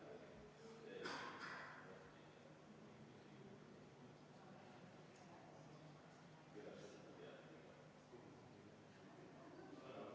Aitäh, austatud eesistuja!